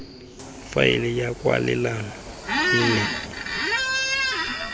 faele ya kwalelano e nne